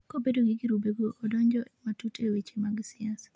kobedo ni girube go odonje matut e weche mag siasa